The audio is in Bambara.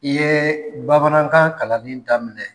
I yɛɛ bamanankan kalanni daminɛ.